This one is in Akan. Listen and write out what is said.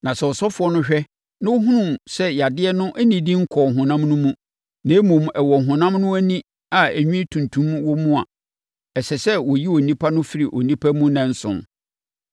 Na sɛ ɔsɔfoɔ no hwɛ na ɔhunu sɛ yadeɛ no nnidi nkɔɔ honam no mu, na mmom, ɛwɔ honam no ani a enwi tuntum wɔ mu a, ɛsɛ sɛ wɔyi onipa no firi nnipa mu nnanson,